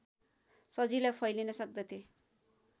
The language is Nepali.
सजिलै फैलिन सक्दथे